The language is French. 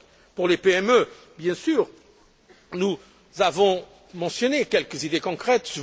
Pour les PME, bien sûr, nous avons mentionné quelques idées concrètes.